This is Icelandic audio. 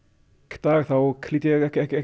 dag lít ég ekki ekki